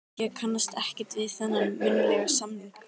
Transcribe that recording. Ég kannast ekkert við þennan munnlega samning.